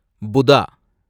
புதா